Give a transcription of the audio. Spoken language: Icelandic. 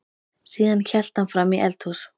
Síðan hélt hann fram í eldhús.